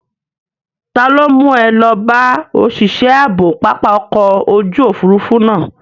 Ta ló mú ẹ lọ bá òṣìṣẹ́ ààbò pápá ọkọ̀ ojú òfuurufú náà?